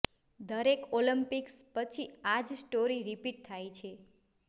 દરેક ઓલિમ્પિક્સ પછી આ જ સ્ટોરી રિપીટ થાય છે